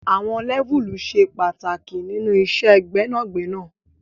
Àwon Lẹ́vùlì se pàtàkì nínú iṣẹ gbẹnagbẹna